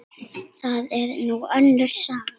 Það er nú önnur saga.